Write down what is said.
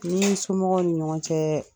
Ni somɔgɔw ni ɲɔgɔn cɛ